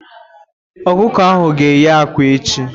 Ọkụkọ ahụ ga eye ákwà echi.